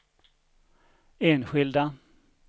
enskilda